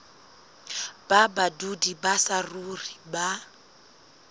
ba badudi ba saruri ba